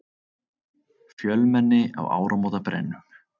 Fjölmenni á áramótabrennum